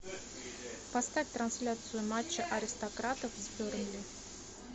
поставь трансляцию матча аристократов с бернли